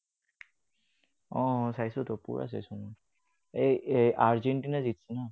অ, অ, চাইছোতো, পুৰা চাইছো মই। আৰ্জেন্টিনা জিকিছে ন?